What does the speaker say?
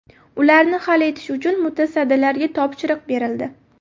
Ularni hal etish uchun mutasaddilarga topshiriq berildi.